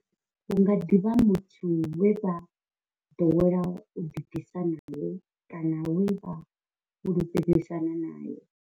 Hu nga ḓi vha muthu we vha ḓowela u ḓibvisa nae kana we vha fhulufhedzisana nae.